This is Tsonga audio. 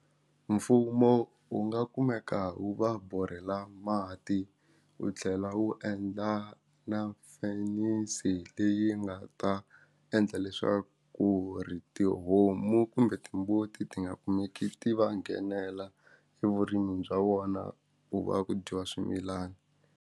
Mfumo wu nga kumeka wu va borhela mati u tlhela wu endla na finance leyi nga ta endla leswaku ri tihomu kumbe timbuti ti nga kumeki ti va nghenela evurimini bya vona ku va ku dyiwa swimilana.